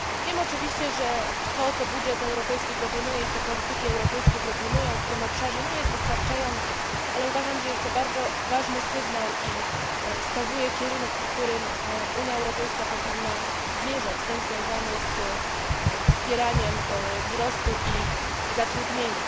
Wiemy oczywiście, że to, co budżet europejski i polityki europejskie proponują w tym obszarze nie jest wystarczające, ale uważam, że jest to bardzo ważny sygnał wskazujący kierunek, w którym Unia Europejska powinna zmierzać ten związany ze wspieraniem wzrostu i zatrudnienia.